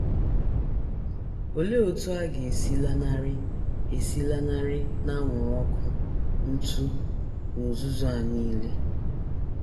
Olee otú ọ ga - esi lanarị - esi lanarị n’anwụrụ ọkụ, ntụ, na uzuzu a nile?